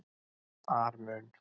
ar mun